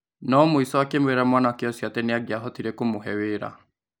No mũico akĩmwĩra mwanake ũcio atĩ nĩangiahotire kũmũhe wĩra.